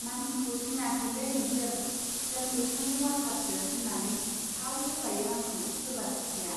मानसिखौ सिनायाखैलै नोंसोर, जों एबसुनि वार्कारसो होन्नानै थाव सोबायो आंखौ सोरबा सासेआ।